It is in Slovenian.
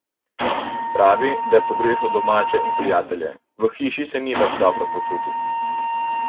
Pravi, da je pogrešal domače in prijatelje, v hiši se ni več dobro počutil.